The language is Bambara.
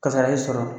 Kasara y'i sɔrɔ